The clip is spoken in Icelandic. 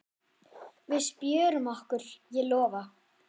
Við spjörum okkur, ég lofa.